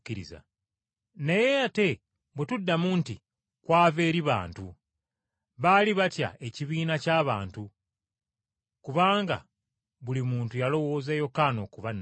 Naye, ate bwe tuddamu nti, ‘Kwava eri bantu.’ ” Baali batya ekibiina ky’abantu. Kubanga buli muntu yalowooza Yokaana okuba nnabbi.